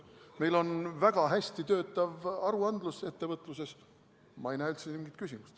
Meil on väga hästi töötav aruandlus ettevõtluses, ma ei näe üldse mingit küsimust.